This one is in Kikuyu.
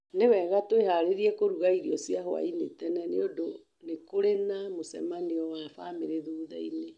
Nĩ wega twĩharĩirie kũruga irio cia hwaĩ-inĩ tene nĩ ũndũ nĩ kũrĩ na mũcemanio wa famĩlĩ thutha-inĩ.